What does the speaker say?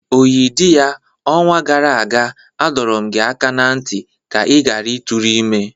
Oyidiya, onwa gara aga, adọrum gi aka na nti ka i ghara ị tụrụ ime!